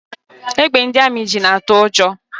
Égbè ndị amị ji na-atụ ụjọ.